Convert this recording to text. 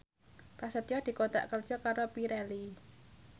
Prasetyo dikontrak kerja karo Pirelli